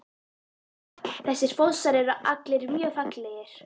Þessir fossar eru allir mjög fallegir.